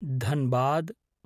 Dhanbad